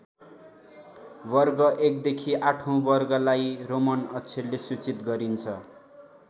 वर्ग एकदेखि आठौँ वर्गलाई रोमन अक्षरले सूचित गरिन्छ।